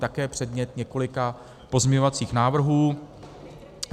Také předmět několika pozměňovacích návrhů.